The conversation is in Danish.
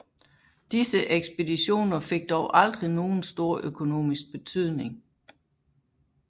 Disse ekspeditioner fik dog aldrig nogen stor økonomisk betydning